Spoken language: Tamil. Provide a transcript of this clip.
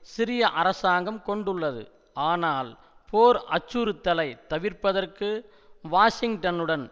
சிரிய அரசாங்கம் கொண்டுள்ளது ஆனால் போர் அச்சுறுத்தலை தவிர்ப்பதற்கு வாஷிங்டனுடன்